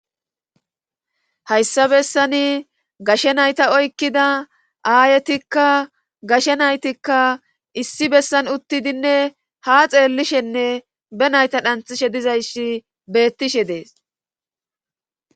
hayssa bessani gashe nayta oykkida aayetikka gashe naytikka issi bessan uttidinne ha xeellishenne be nayta dhanthishe dizayssi beettishe dees